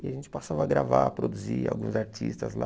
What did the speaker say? E a gente passava a gravar, a produzir alguns artistas lá...